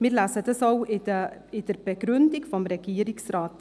Wir lesen dies auch in der Begründung des Regierungsrates.